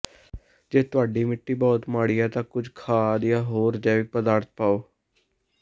ਜੇ ਤੁਹਾਡੀ ਮਿੱਟੀ ਬਹੁਤ ਮਾੜੀ ਹੈ ਤਾਂ ਕੁਝ ਖਾਦ ਜਾਂ ਹੋਰ ਜੈਵਿਕ ਪਦਾਰਥ ਪਾਓ